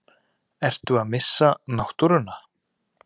Ertu að missa náttúruna?